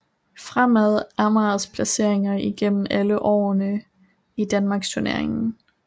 Fremad Amagers placeringer igennem alle årene i Danmarksturneringen